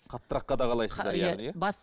қаттырақ қадағалайсыздар